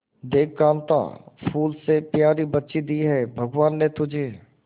देख कांता फूल से प्यारी बच्ची दी है भगवान ने तुझे